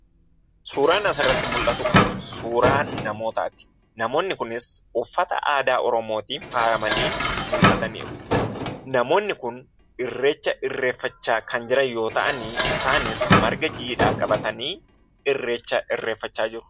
Suuraan asirratti mul'atu kun suuraa namootaati. Namoonni kunis uffata aadaa Oromootiin faayamanii mul'ataniiru. Namoonni kun Irreecha Irreeffachaa kan jiran yoo ta'anii isaanis marga jiidhaa qabatanii Irreecha irreeffachaa jiru.